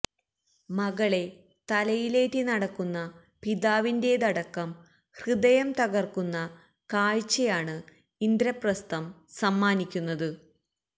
മകളെ തലയിലേറ്റി നടക്കുന്ന പിതാവിന്റേതടക്കം ഹൃദയം തകർക്കുന്ന കാഴ്ചയാണ് ഇന്ദ്രപസ്ഥം സമ്മാനിക്കുന്നത്